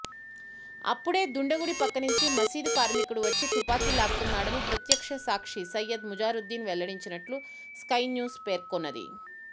అప్పుడే దుండగుడి పక్కనుంచి మసీదు కార్మికుడు వచ్చి తుపాకీ లాక్కున్నాడని ప్రత్యక్షసాక్షి సయ్యద్ మజారుద్దీన్ వెల్లడించినట్టు స్కై న్యూస్ పేర్కొన్నది